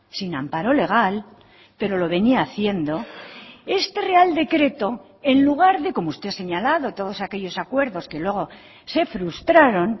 sin amparo legal pero lo venía haciendo este real decreto en lugar de como usted ha señalado todos aquellos acuerdos que luego se frustraron